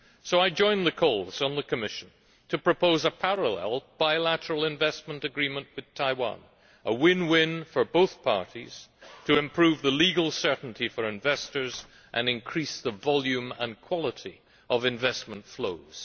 So I join the calls on the Commission to propose a parallel bilateral investment agreement with Taiwan a win win for both parties to improve the legal certainty for investors and increase the volume and quality of investment flows.